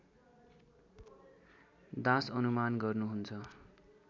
दास अनुमान गर्नुहुन्छ